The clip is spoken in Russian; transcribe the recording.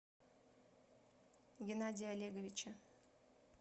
геннадия олеговича